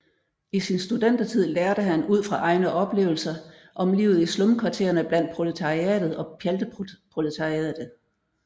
I sin studentertid lærte han ud fra egne oplevelser om livet i slumkvarterne blandt proletariatet og pjalteproletariatet